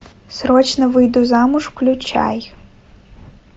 срочно выйду замуж включай